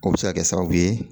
O be se ka kɛ sababu ye